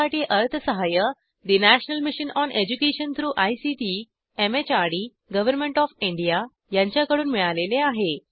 यासाठी अर्थसहाय्य national mission on education through ICT MHRD government of India यांच्याकडून मिळालेले आहे